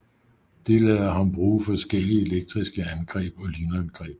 Det lader ham bruge forskellige elektriske angreb og lynangreb